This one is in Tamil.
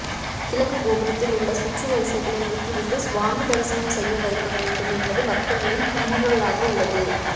கிழக்கு கோபுரத்தில் உள்ள சுற்று வரிசைகளை நீக்கிவிட்டு சுவாமி தரிசனம் செய்ய வைக்க வேண்டும் என்பதே பக்தர்களின் குமுறலாக உள்ளது